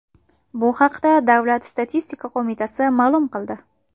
Bu haqda Davlat statistika qo‘mitasi ma’lum qildi .